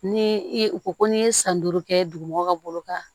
Ni i ko ko n'i ye san duuru kɛ duguma ka bolo kan